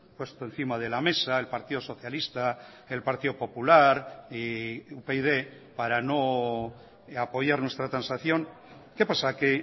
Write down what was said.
puesto encima de la mesa el partido socialista el partido popular y upyd para no apoyar nuestra transacción qué pasa que